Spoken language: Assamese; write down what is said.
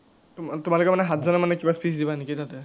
তোমালোকে মানে সাতজনে মানে কিবা speech দিবা নেকি তাতে?